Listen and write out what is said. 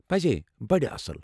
پزی ، بڈٕ اصٕل۔